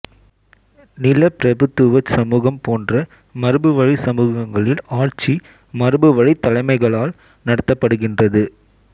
நிலப்பிரபுத்துவச் சமூகம் போன்ற மரபுவழிச் சமூகங்களில் ஆட்சி மரபுவழித் தலைமைகளால் நடத்தப்படுகின்றது